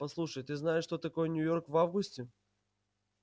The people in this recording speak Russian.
послушай ты знаешь что такое нью-йорк в августе